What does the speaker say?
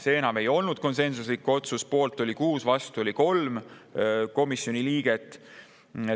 See enam ei olnud konsensuslik otsus: poolt oli 6 ja vastu oli 3 komisjoni liiget.